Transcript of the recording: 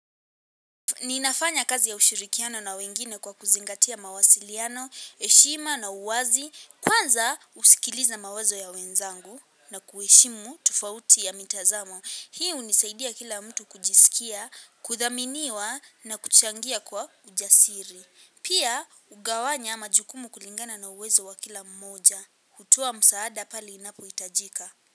Ninafanya kazi ya ushirikiano na wengine kwa kuzingatia mawasiliano, heshima na uwazi, kwanza husikiliza mawazo ya wenzangu na kuheshimu tufauti ya mitazamo. Hii hunisaidia kila mtu kujisikia, kudhaminiwa na kuchangia kwa ujasiri. Pia hugawanya majukumu kulingana na uwezo wa kila mmoja, hutua msaada pale inapo hitajika.